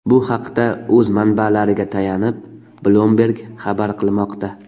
Bu haqda o‘z manbalariga tayanib, Bloomberg xabar qilmoqda .